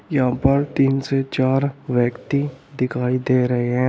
यहां पर तीन से चार व्यक्ति दिखाई दे रहे हैं।